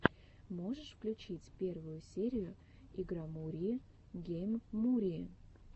можешь включить первую серию игромурии гейммурии